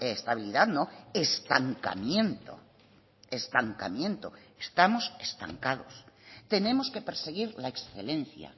estabilidad no estancamiento estancamiento estamos estancados tenemos que perseguir la excelencia